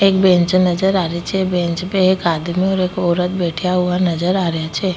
एक बैंच नजर आ रहे छे बैंच पे एक आदमी और एक औरत बैठिया हुआ नजर आ रेहा छे।